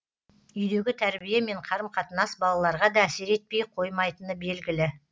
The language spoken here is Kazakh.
үйдегі тәрбие мен қарым қатынас балаларға да әсер етпей қоймайтыны белгілі